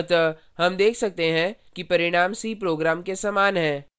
अतः हम देखते हैं कि परिणाम c program के समान हैं